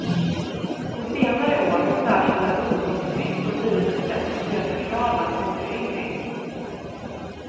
På senare år har särskilda ungdomslistor blivit ett sätt att möta kraven på föryngring.